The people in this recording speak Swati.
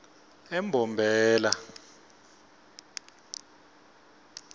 embombela